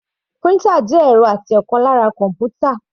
Printer jẹ́ ẹ̀rọ àti ọ̀kan lára kọ́npútà.